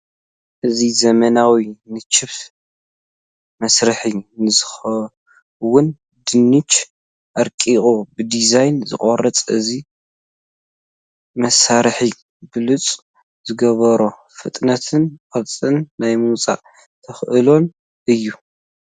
እዚ ዘመናዊ ንቺፕ መስርሒ ንዝኸውን ድንች ኣርቂቑ ብዲዛይር ዝቖርፅ እዩ፡፡ እዚ መሳርሒ ብሉፅ ዝገብሮ ፍጥነቱን ቅርፂ ናይ ምውፃእ ተኽእሎኡን እዩ፡፡